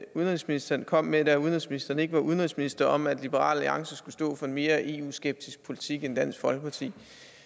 udenrigsministeren kom med da udenrigsministeren ikke var udenrigsminister om at liberal alliance skulle stå for en mere eu skeptisk politik end dansk folkeparti